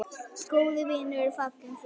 Góður vinur er fallinn frá.